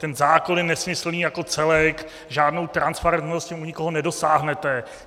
Ten zákon je nesmyslný jako celek, žádnou transparentnost u nikoho nedosáhnete.